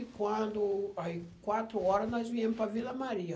E quando... Aí, quatro horas, nós viemos para a Vila Maria.